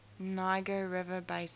niger river basin